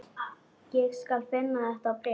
Ég skal finna þetta bréf